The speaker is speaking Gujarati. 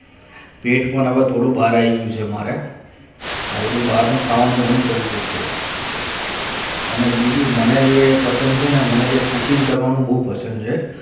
પેટ પણ મારે થોડું ભરાય છે હમારે પછી બહારનું ખાવાનું મન કરું મળશે અને બીજું મને જે પસંદ થઈ ના મને જે cooking કરવાનું બહુ પસંદ છે